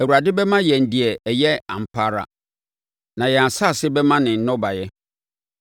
Awurade bɛma yɛn deɛ ɛyɛ ampa ara na yɛn asase bɛma ne nnɔbaeɛ.